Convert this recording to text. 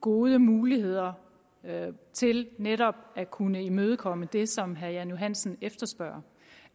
gode muligheder til netop at kunne imødekomme det som herre jan johansen efterspørger